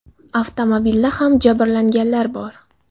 Avtomobilda ham jabrlanganlar bor.